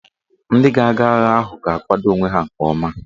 Ndị ga-aga agha ahụ ga-akwado onwe ha nke ọma